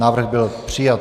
Návrh byl přijat.